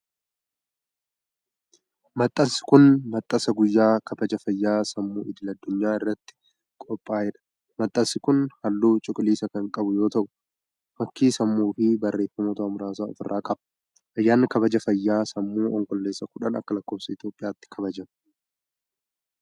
Maxxansi kun maxxansa guyyaa kabaja fayyaa sammuu idil addunyaa irratti qophaa'e dha. Maxxansi kun haalluu cuquliisa kan qabu yoo ta'u, fakkii sammuu fi barreeffamoota muraasa of irraa qaba. Ayyaanni kabaja fayyaa sammuu onkololeessa 10 ALI kabajama.